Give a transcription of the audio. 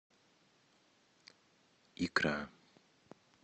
икра